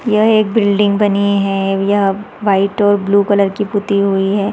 यह एक बिल्डिंग बनी है यह वाइट और ब्लू कलर की पुट्टी हुई है।